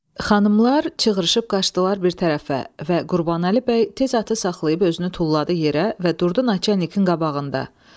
Xanımlar cığrışıb qaçdılar bir tərəfə və Qurbanəli bəy tez atı saxlayıb özünü tulladı yerə və durdu naçalnikin qabağında.